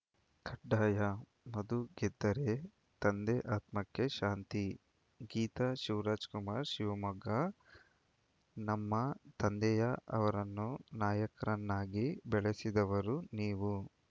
ಕಡ್ಡಾಯಮಧು ಗೆದ್ದರೆ ತಂದೆ ಆತ್ಮಕ್ಕೆ ಶಾಂತಿ ಗೀತಾ ಶಿವರಾಜಕುಮಾರ್‌ ಶಿವಮೊಗ್ಗ ನಮ್ಮ ತಂದೆಯ ಅವರನ್ನು ನಾಯಕರನ್ನಾಗಿ ಬೆಳೆಸಿದವರು ನೀವು